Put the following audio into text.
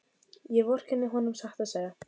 Ég vorkenni honum satt að segja.